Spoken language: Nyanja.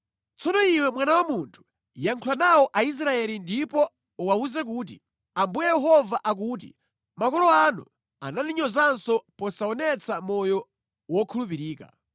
“Tsono iwe mwana wa munthu, yankhula nawo Aisraeli ndipo uwawuze kuti, ‘Ambuye Yehova akuti makolo anu anandinyozanso posaonetsa moyo wokhulupirika.